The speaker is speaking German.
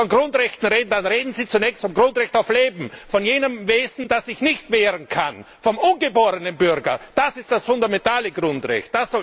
Wenn Sie von Grundrechten reden, dann reden Sie zunächst vom Grundrecht auf Leben von jenem Wesen, das sich nicht wehren kann, vom ungeborenen Bürger! Das ist das fundamentale Grundrecht!